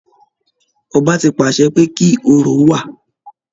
Ọba tí pàṣẹ pé kí orò wa